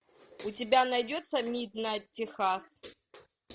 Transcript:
у тебя найдется миднайт техас